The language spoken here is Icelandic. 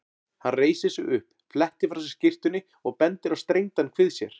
Hann reisir sig upp, flettir frá sér skyrtunni og bendir á strengdan kvið sér.